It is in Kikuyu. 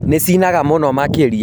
Nĩcinaga mũno makĩria